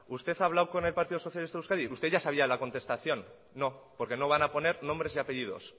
usted ha hablado con el partido socialista de euskadi usted ya sabia la contestación no porque no van a poner nombres y apellidos